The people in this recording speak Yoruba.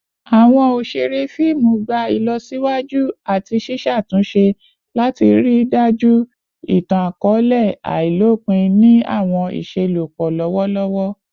Awọn oṣere fiimu gba ilọsiwaju ati ṣiṣatunṣe lati rii daju itan-akọọlẹ ailopin ni awọn iṣelọpọ lọwọlọwọ